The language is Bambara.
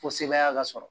Fo sebaya ka sɔrɔ